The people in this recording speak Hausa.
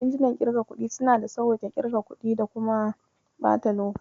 Injinan ƙirga kuɗi suna sawwaƙe ƙirga kuɗi da kuma ɓata lokaci.